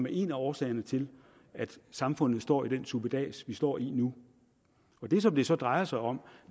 er en af årsagerne til at samfundet står i den suppedas som vi står i nu det som det så drejer sig om